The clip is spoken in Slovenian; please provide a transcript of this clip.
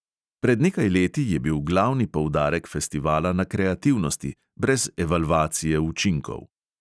Pred nekaj leti je bil glavni poudarek festivala na kreativnosti, brez evalvacije učinkov.